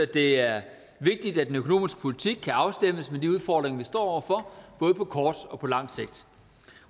det er vigtigt at den økonomiske politik kan afstemmes med de udfordringer vi står over for både på kort og på lang sigt